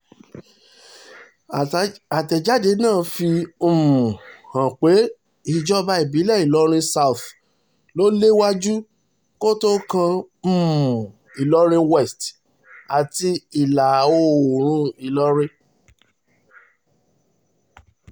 àtẹ̀jáde náà fi um hàn pé ìjọba ìbílẹ̀ ìlọrin south ló léwájú kó tóó kan um ìlọrin west àti ìlà-oòrùn ìlọrin